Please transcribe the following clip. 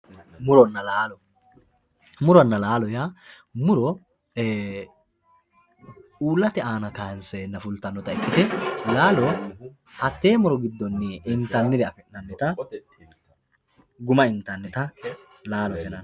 muronna laalo. muronna laalo yaa muro uullate aana kaanseenna fultannota ikkite laalo hattee muronni intannire afi'nannita guma intannita laalote yinanni.